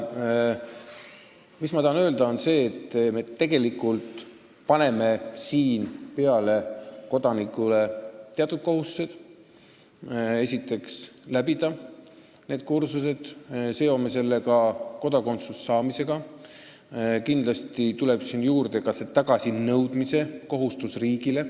Mis ma tahan öelda, on see, et me tegelikult paneme siin kodanikule peale teatud kohustused: esiteks, läbida see kursus, mis on seotud kodakondsuse saamisega, ja kindlasti tuleb juurde ka tagasinõudmise kohustus riigile.